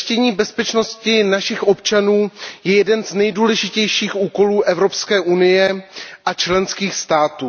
Zajištění bezpečnosti našich občanů je jedním z nejdůležitějších úkolů Evropské unie a členských států.